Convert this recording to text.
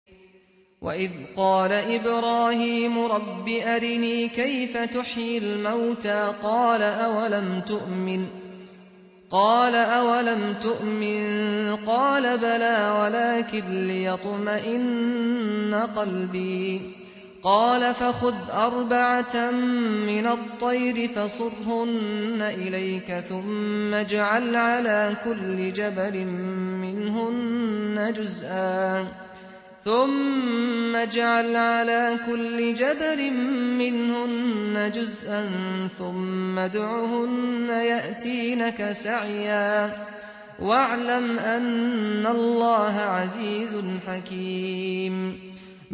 وَإِذْ قَالَ إِبْرَاهِيمُ رَبِّ أَرِنِي كَيْفَ تُحْيِي الْمَوْتَىٰ ۖ قَالَ أَوَلَمْ تُؤْمِن ۖ قَالَ بَلَىٰ وَلَٰكِن لِّيَطْمَئِنَّ قَلْبِي ۖ قَالَ فَخُذْ أَرْبَعَةً مِّنَ الطَّيْرِ فَصُرْهُنَّ إِلَيْكَ ثُمَّ اجْعَلْ عَلَىٰ كُلِّ جَبَلٍ مِّنْهُنَّ جُزْءًا ثُمَّ ادْعُهُنَّ يَأْتِينَكَ سَعْيًا ۚ وَاعْلَمْ أَنَّ اللَّهَ عَزِيزٌ حَكِيمٌ